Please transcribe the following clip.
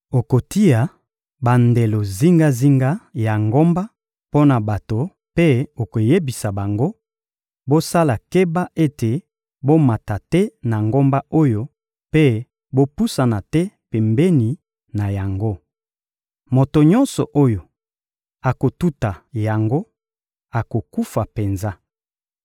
Okotia bandelo zingazinga ya ngomba mpo na bato mpe okoyebisa bango: «Bosala keba ete bomata te na ngomba oyo mpe bopusana te pembeni na yango. Moto nyonso oyo akotuta yango akokufa penza.